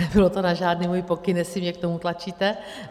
Nebylo to na žádný můj pokyn, jestli mě k tomu tlačíte.